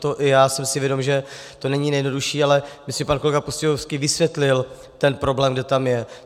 To i já jsem si vědom, že to není nejjednodušší, ale myslím, že pan kolega Pustějovský vysvětlil ten problém, kde tam je.